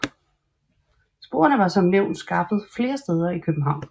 Sporene var som nævnt skaffet flere steder i København